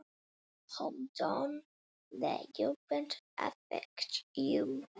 Hvernig leggst ferðin í þig?